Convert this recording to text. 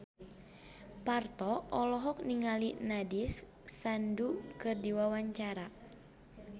Parto olohok ningali Nandish Sandhu keur diwawancara